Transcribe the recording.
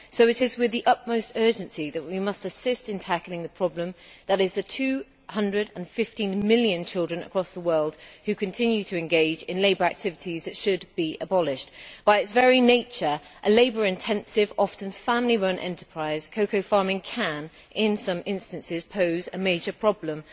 So it is with the utmost urgency that we must assist in tackling the problem that is the 215 million children across the world who continue to engage in labour activities which should be abolished. By its very nature a labour intensive, often family run enterprise cocoa farming can, in some instances, pose a major problem.